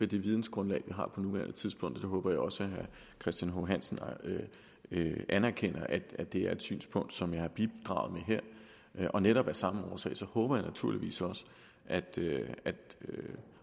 det vidensgrundlag vi har på nuværende tidspunkt og jeg håber også at herre christian h hansen anerkender at det er et synspunkt som jeg har bidraget med her og netop af samme årsag håber jeg naturligvis også at